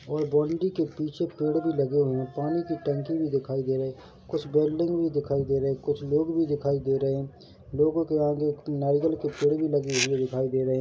और बॉउन्ड्री के पीछे पेड़ भी लगे हुए है पानी की टंकी भी दिखाई दे रहे है कुछ बिल्डिंग भी दिखाई दे रहे कुछ लोग भी दिखाई दे रहे हैलोगों के आगे एक नारियल के पेड़ भी लगी हुई दिखाई दे रहे है।